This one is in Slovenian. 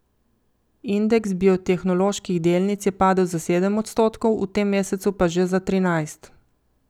Indeks biotehnoloških delnic je padel za sedem odstotkov, v tem mesecu pa že za trinajst.